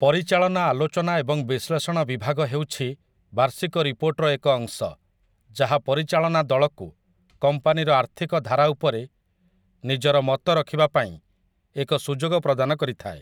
ପରିଚାଳନା ଆଲୋଚନା ଏବଂ ବିଶ୍ଳେଷଣ ବିଭାଗ ହେଉଛି ବାର୍ଷିକ ରିପୋର୍ଟର ଏକ ଅଂଶ, ଯାହା ପରିଚାଳନା ଦଳକୁ କମ୍ପାନୀର ଆର୍ଥିକ ଧାରା ଉପରେ ନିଜର ମତ ରଖିବା ପାଇଁ ଏକ ସୁଯୋଗ ପ୍ରଦାନ କରିଥାଏ ।